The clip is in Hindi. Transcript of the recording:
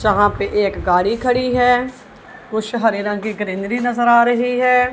जहां पे एक गाड़ी खड़ी हैं कुछ हरे रंग की ग्रीनरी नजर आ रही हैं।